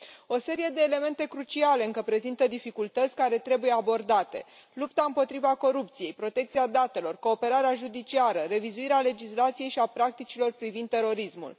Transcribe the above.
O serie de elemente cruciale încă prezintă dificultăți care trebuie abordate lupta împotriva corupției, protecția datelor, cooperarea judiciară revizuirea legislației și a practicilor privind terorismul.